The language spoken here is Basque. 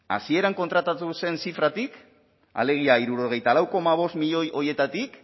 hasieran kontratatu zen zifratik alegia hirurogeita lau koma bost milioi horietatik